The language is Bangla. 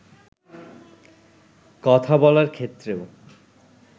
কথা বলার ক্ষেত্রেও